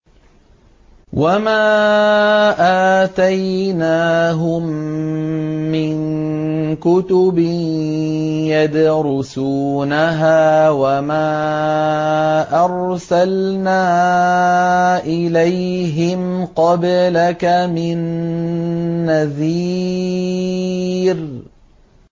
وَمَا آتَيْنَاهُم مِّن كُتُبٍ يَدْرُسُونَهَا ۖ وَمَا أَرْسَلْنَا إِلَيْهِمْ قَبْلَكَ مِن نَّذِيرٍ